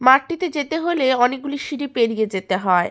মাঠটিতে যেতে হলে অনেকগুলি সিঁড়ি পেরিয়ে যেতে হয়।